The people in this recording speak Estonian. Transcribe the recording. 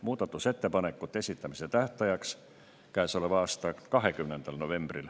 Muudatusettepanekute esitamise tähtaeg oli käesoleva aasta 20. november.